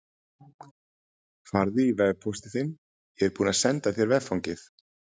Farðu í vefpóstinn þinn, ég er búinn að senda þér veffangið.